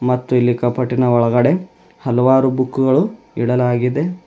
ಮತ್ತು ಇಲ್ಲಿ ಕಪಾಟಿನ ಒಳಗಡೆ ಹಲವಾರು ಬುಕ್ ಗಳು ಇಡಲಾಗಿದೆ.